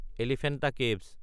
Elephanta caves